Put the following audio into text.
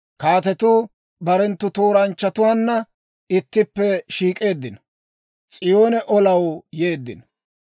Kaatetuu barenttu tooranchchatuwaanna ittippe shiik'eeddino; S'iyoone olanaw yeeddino.